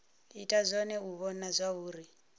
ita zwone u vhona zwauri